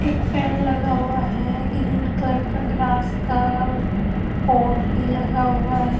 एक पैन लगा हुआ है ग्रीन कलर का ग्रास का पोर्ट भी लगा हुआ है ।